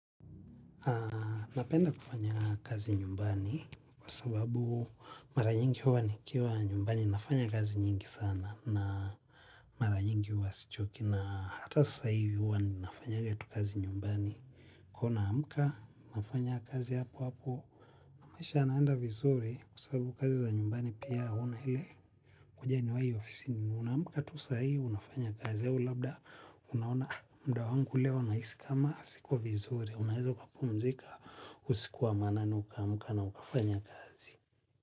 Na napenda kufanya kazi nyumbani kwa sababu mara nyingi huwa nikiwa nyumbani nafanya kazi nyingi sana na mara nyingi huwa sichoki na hata sasa hivi huwa ninafanyaga tu kazi nyumbani. Huwa naamka, nafanya kazi hapo hapo. Maisha yanaenda vizuri kwa sababu sabu kazi za nyumbani pia huna ile kujaniwayo ofisi. Unaamka tu sahii, unafanya kazi au labda unaona muda wangu leo nahisi kama siko vizuri, unaeza ukapumzika. Usiku wa manane ukaamuka na ukafanya kazi.